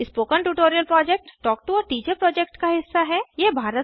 spoken tutorial project talk to a teacher project का हिस्सा है